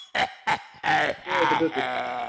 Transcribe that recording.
Við skulum skoða þetta betur.